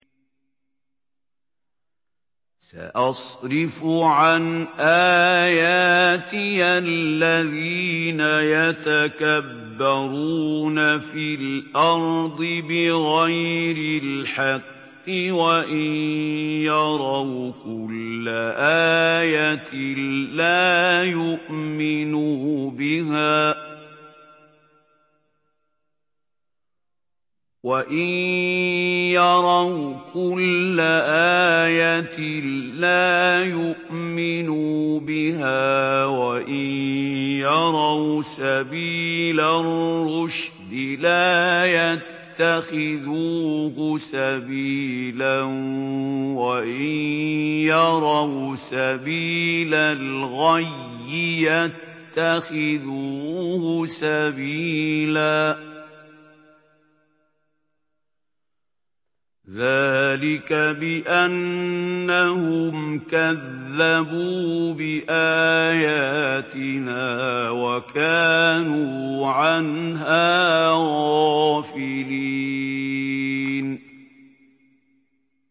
سَأَصْرِفُ عَنْ آيَاتِيَ الَّذِينَ يَتَكَبَّرُونَ فِي الْأَرْضِ بِغَيْرِ الْحَقِّ وَإِن يَرَوْا كُلَّ آيَةٍ لَّا يُؤْمِنُوا بِهَا وَإِن يَرَوْا سَبِيلَ الرُّشْدِ لَا يَتَّخِذُوهُ سَبِيلًا وَإِن يَرَوْا سَبِيلَ الْغَيِّ يَتَّخِذُوهُ سَبِيلًا ۚ ذَٰلِكَ بِأَنَّهُمْ كَذَّبُوا بِآيَاتِنَا وَكَانُوا عَنْهَا غَافِلِينَ